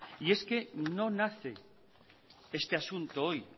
y es que no nace este asunto hoy